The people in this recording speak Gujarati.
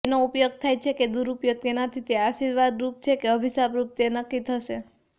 તેનો ઉપયોગ થાય છે કે દુરુપયોગ તેનાથી તે આશીર્વાદરૂપ છે કે અભિશાપરૂપ તે નક્કી થશે